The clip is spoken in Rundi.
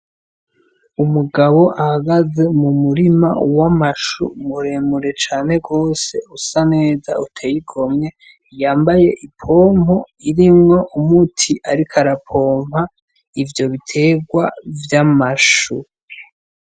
Umugabo ahagaze mu murima w'amashu muremure cane gose usa neza utey'igomwe ,yambaye ipompo irimwo umuti ariko arapompa ivyo biterwa vy'amashu.